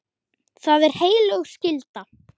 Það er heilög skylda.